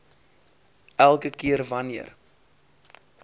elke keer wanneer